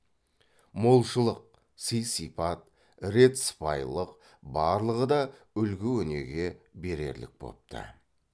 молшылық сый сипат рет сыпайылық барлығы да үлгі өнеге берерлік бопты